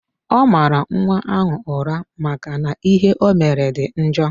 Ọ mara nwa ahụ ụra maka na ihe omere dị njọ.